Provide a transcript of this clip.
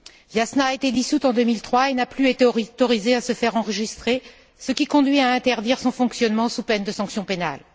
Viasna a été dissoute en 2003 et n'a plus été autorisée à se faire enregistrer, ce qui a conduit à interdire son fonctionnement sous peine de sanction pénale.